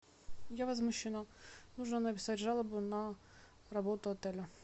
я возмущена нужно написать жалобу на работу отеля